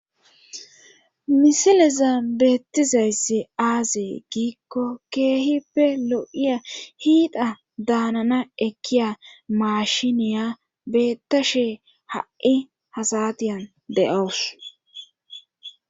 Misileza beettizayssi aazee giikko keehippe lo7iya hiida daanana ekkiya maashiniya bettashe ha7i hasatiyan de7owus.